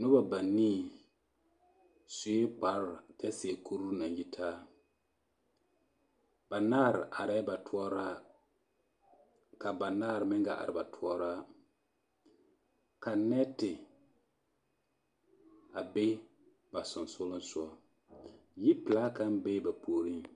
Noba banii sue kpare kyɛ seɛ kuri naŋ yitaa banaare arɛɛ batoɔraa ka banaare meŋ gaa are batoɔraa ka nɛɛte a be ba sonsoolesogɔ yipelaa kaŋ bee ba puoriŋ.